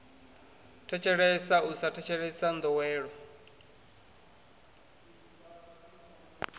thetshelesa u sa thetshelesa ndowelo